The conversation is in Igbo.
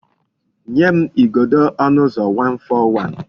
Nye m igodo onu uzo 141